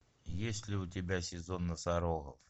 есть ли у тебя сезон носорогов